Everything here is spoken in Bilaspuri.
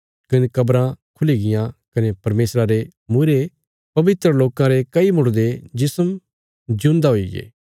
कने कब्राँ खुली गियां कने परमेशरा रे मूईरे पवित्र लोकां रे कई मुर्दे जिस्म जिऊंदा हुईगे